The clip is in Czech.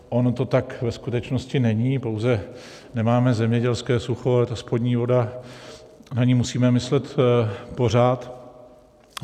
Ono to tak ve skutečnosti není, pouze nemáme zemědělské sucho, ale ta spodní voda, na ni musíme myslet pořád.